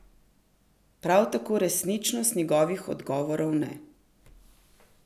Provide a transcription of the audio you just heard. Prav tako resničnost njegovih odgovorov ne.